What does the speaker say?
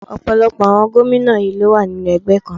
Ọ̀pọ̀lọpọ̀ àwọn gómìnà yí ló wà nínú ẹgbẹ́ kan náà.